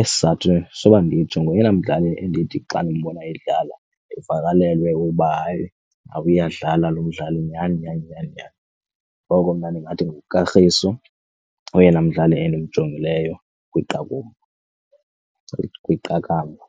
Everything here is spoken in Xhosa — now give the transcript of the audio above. isizathu soba nditsho ngoyena mdlali endithi xa ndimbona edlala ndivakalelwe uba, hayi, uyadlala lo mdlali nyhani nyhani nyhani nyhani. Ngoko mna ndingathi nguKagiso oyena mdlali endimjongileyo bona kwiqakamba.